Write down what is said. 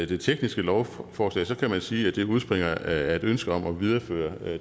det tekniske lovforslag så kan man sige at det udspringer af et ønske om at videreføre